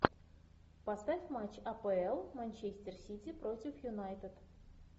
поставь матч апл манчестер сити против юнайтед